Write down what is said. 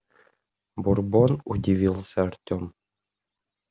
бурбон удивился артем